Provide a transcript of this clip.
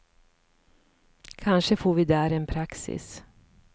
Kanske får vi där en praxis.